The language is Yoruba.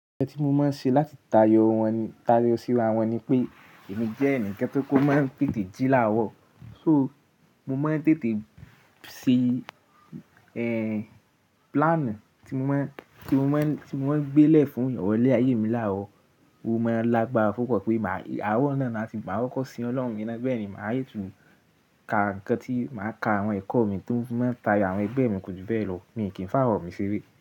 Nkan tí mo máa ń ṣe láti tayọ síra wọn ni pé èmi jẹ́ ẹnìkan tó máa ń tètè jí láwọ̀. So mo máa ń tètè ṣẹ́ plan tí mo máa ń gbé lẹ̀ fún ìrọ̀lẹ́ ayé mi láwọ̀. Mo máa lágbára púpọ́ pé àárọ̀ náà ni tí màá kọkọ̀ sí Ọlọ́run ni na bẹ́ẹ̀ ni màá sí tún ka ǹkan tí màá ka àwọn ẹ̀kọ́ mi tó máa ń tayọ àwọn ẹgbẹ́ mi kódì bẹ́ẹ̀ lọ. Mi kì í fá àwọn mi ṣeré.